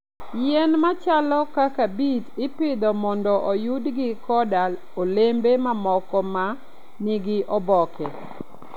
Yien machalo kaka beet ipidho mondo oyudgi koda olembe mamoko ma nigi oboke.